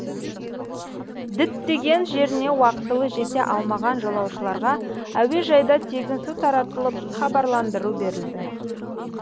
діттеген жеріне уақтылы жете алмаған жолаушыларға әуежайда тегін су таратылып хабарландыру берілді